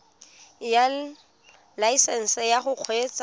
ya laesesnse ya go kgweetsa